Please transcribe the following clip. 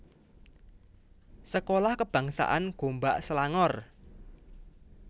Sekolah Kebangsaan Gombak Selangor